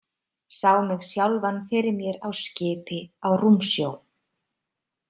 Sá mig sjálfan fyrir mér á skipi á rúmsjó.